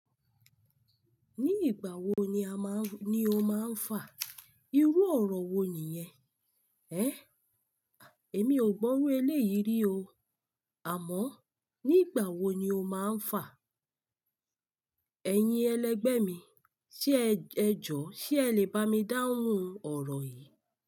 Ní ìgbà wo ní o máa ń fà? Irú ọ̀rọ̀ wo nìyẹn? Emi ò gbọ́ iru eléyìí rí o. Àmọ́ ní ìgbà wo ni o máa ń fà? Ẹ̀yin ẹlẹgbẹ́ mi, ẹjọ́, ṣe ẹ lè bá mi dáhùn ọ̀rọ̀ yìí?